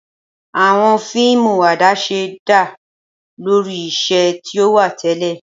Awọn fiimu adaṣe da lori iṣẹ ti o wa tẹlẹ.